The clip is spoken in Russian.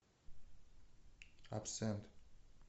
абсент